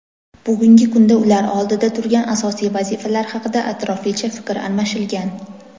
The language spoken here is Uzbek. bugungi kunda ular oldida turgan asosiy vazifalar haqida atroflicha fikr almashilgan.